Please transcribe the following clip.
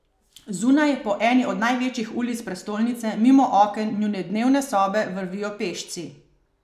Zunaj po eni od največjih ulic prestolnice mimo oken njune dnevne sobe vrvijo pešci.